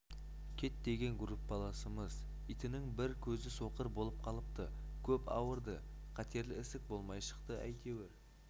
кэт деген группаласымыз итінің бір көзі соқыр болып қалыпты көп ауырды қатерлі ісік болмай шықты әйтеуір